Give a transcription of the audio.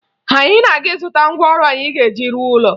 Anyị na-aga ịzụta ngwaọrụ anyị ga-eji rụọ ụlọ